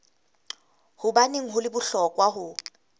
hobaneng ho le bohlokwa ho